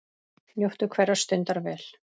Njóttu hverrar stundar vel.